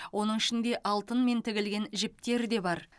оның ішінде алтынмен тігілген жіптер де бар